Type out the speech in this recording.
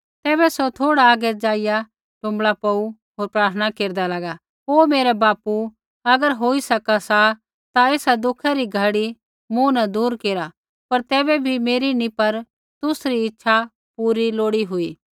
तैबै सौ थोड़ा आगै ज़ाइआ टुँबड़ा पौड़ू होर प्रार्थना केरदा लागा हे मेरै बापू अगर होइ सका सा ता एसा दुखै री घड़ी मूँ न दूर केरा पर तैबै भी मेरी नी पर तुसरी इच्छा पूरी लोड़ी हुई